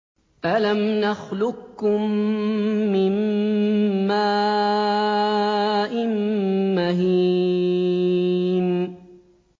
أَلَمْ نَخْلُقكُّم مِّن مَّاءٍ مَّهِينٍ